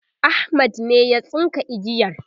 Ahmad ne ya tsinka igiyar